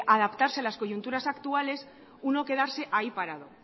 adaptarse a las coyunturas actuales uno quedarse ahí parado